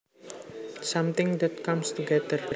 Something that comes together